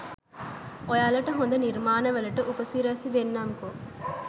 ඔයාලට හොද නිර්මාණවලට උපසිරැසි දෙන්නම්කෝ.